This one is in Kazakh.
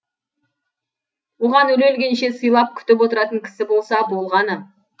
оған өле өлгенше сыйлап күтіп отыратын кісі болса болғаны